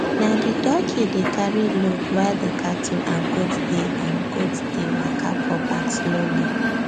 na the dockey dey carry load while the cattle and goat dey and goat dey waka for back slowly